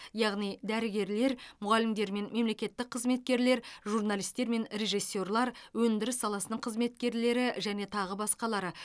яғни дәрігерлер мұғалімдер мен мемлекеттік қызметкерлер журналисттер мен режиссерлар өндіріс саласының қызметкерлері және тағы басқалары